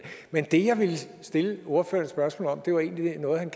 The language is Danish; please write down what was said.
men det jeg ville stille ordføreren et spørgsmål om var egentlig noget han